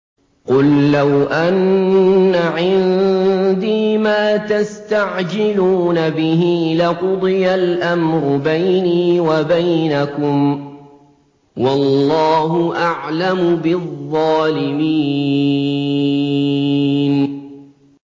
قُل لَّوْ أَنَّ عِندِي مَا تَسْتَعْجِلُونَ بِهِ لَقُضِيَ الْأَمْرُ بَيْنِي وَبَيْنَكُمْ ۗ وَاللَّهُ أَعْلَمُ بِالظَّالِمِينَ